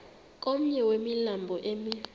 komnye wemilambo emi